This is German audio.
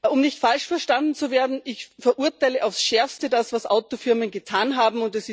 Um nicht falsch verstanden zu werden Ich verurteile aufs Schärfste das, was Autofirmen getan haben.